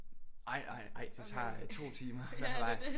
Ej nej nej det tager 2 timer hver vej